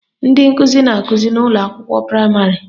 Ndị nkụzi na-akụzi n' ụlọakwụkwọ praịmarị